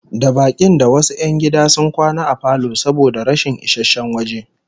Da bakin da wasu 'yan gida sun kwana a falo saboda rashin isasshen waje